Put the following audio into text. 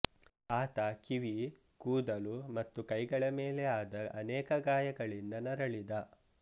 ಆತ ಕಿವಿ ಕೂದಲು ಮತ್ತು ಕೈಗಳ ಮೇಲೆ ಆದ ಅನೇಕ ಗಾಯಗಳಿಂದ ನರಳಿದ